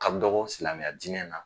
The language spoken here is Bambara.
Ka dɔgɔ silamɛya dinɛ na